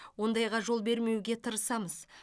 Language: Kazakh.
ондайға жол бермеуге тырысамыз